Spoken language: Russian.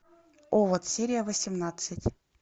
овод серия восемнадцать